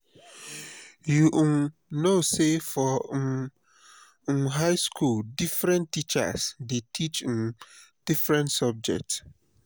you um know sey for um um high skool differen teachers dey teach um different subject.